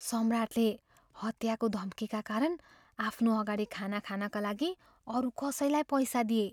सम्राटले हत्याको धम्कीका कारण आफ्नो अगाडि खाना खानका लागि अरू कसैलाई पैसा दिए।